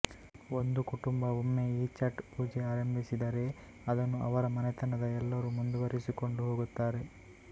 ಒಂದು ಕುಟುಂಬ ಒಮ್ಮೆ ಈ ಛಠ್ ಪೂಜೆ ಆರಂಭಿಸಿದರೆ ಅದನ್ನು ಅವರ ಮನೆತನದ ಎಲ್ಲರೂ ಮುಂದುವರೆಸಿಕೊಂಡು ಹೋಗುತ್ತಾರೆ